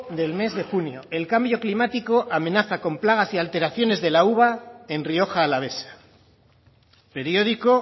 del mes de junio el cambio climático amenaza con plagas y alteraciones de la uva en rioja alavesa periódico